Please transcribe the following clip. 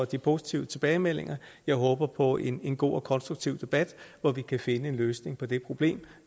de positive tilbagemeldinger jeg håber på en god og konstruktiv debat hvor vi kan finde en løsning på det problem